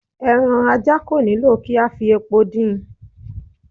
Ẹran ajá kò nílò kí a fi epo din in